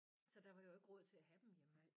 Så der var jo ikke råd til at have dem jo